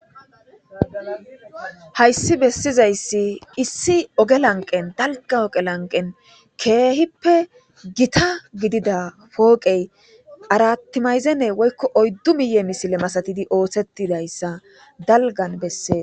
Hayisi besizayisi ogge laniqeni daaligani oge laniqeni kehippe gita gidida poqeyi arati mazene woyikko oyiddu miye misile gididi oothetidayisa daaligani beesesi